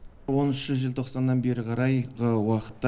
оныншы желтоқсаннан бері қарайғы уақытта